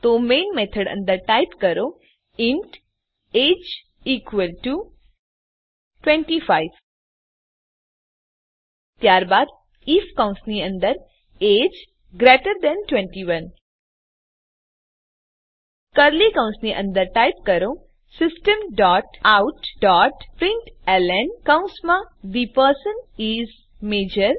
તો main method અંદર type કરો ઇન્ટ એજીઇ ઇકવલ ટુ ૨૫ ત્યારબાદ આઇએફ કૌંસની અંદર એજીઇ ગ્રેટર ધેન ૨૧ કર્લી કૌંસની અંદર ટાઈપ કરો system dot out dot println કૌંસમાં થે પર્સન ઇસ મજોર